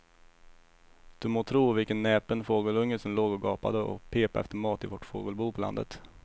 Du må tro vilken näpen fågelunge som låg och gapade och pep efter mat i vårt fågelbo på landet.